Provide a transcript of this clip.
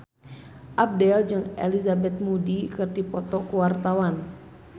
Abdel jeung Elizabeth Moody keur dipoto ku wartawan